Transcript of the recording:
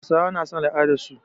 Hausawa na son al'adarsu.